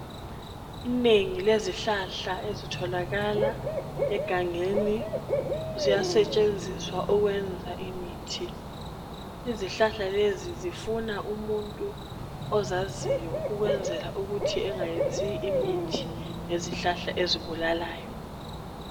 Inengi lezihlahla ezitholakala egangeni ziyasetshenziswa ukwenza imithi. Izihlahla lezi zifuna umuntu ozaziyo ukwenzela ukuthi engayenzi imithi ngezihlahla ezibulalayo.